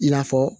I n'a fɔ